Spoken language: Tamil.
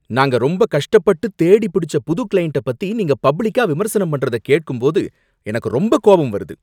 நாங்க ரொம்ப கஷ்டப்பட்டு தேடிப்பிடிச்ச புது கிளையண்ட்ட பத்தி நீங்க பப்ளிக்கா விமர்சனம் பண்றத கேட்கும்போது எனக்கு ரொம்ப கோபம் வருது.